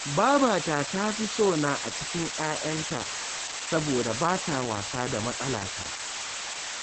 Babata ta fi sona a cikin ‘ya’yanta, saboda ba ta wasa da matsalata